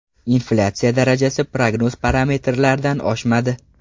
Inflyatsiya darajasi prognoz parametrlaridan oshmadi.